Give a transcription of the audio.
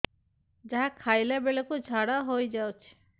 ଯାହା ଖାଇଲା ବେଳକୁ ଝାଡ଼ା ହୋଇ ଯାଉଛି